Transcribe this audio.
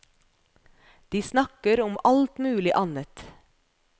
De snakker om alt mulig annet.